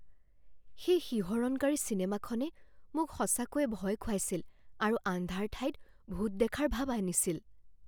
সেই শিহৰণকাৰী চিনেমাখনে মোক সঁচাকৈয়ে ভয় খুৱাইছিল আৰু আন্ধাৰ ঠাইত ভূত দেখাৰ ভাব আনিছিল।